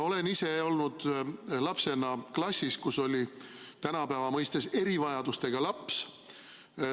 Olen ise olnud lapsena klassis, kus oli tänapäeva mõistes erivajadustega laps.